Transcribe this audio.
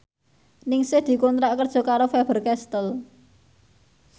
Ningsih dikontrak kerja karo Faber Castel